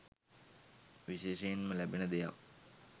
විශේෂයෙන්ම ලැබෙන දෙයක්